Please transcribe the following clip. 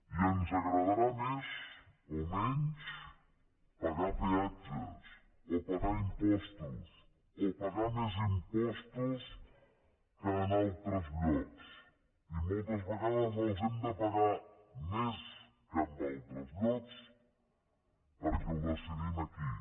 i ens agradarà més o menys pagar peatges o pagar impostos o pagar més impostos que en altres llocs i moltes vegades n’hem de pagar més que en altres llocs perquè ho decidim aquí